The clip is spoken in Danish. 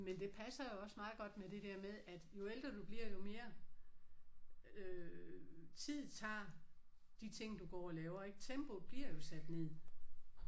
Men det passer jo også meget godt med det der med at jo ældre jo bliver jo mere øh tid tager de ting du går og laver ik. Tempoet bliver jo sat ned